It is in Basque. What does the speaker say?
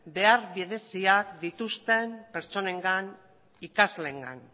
behar bereziak dituzten pertsonengan ikasleengan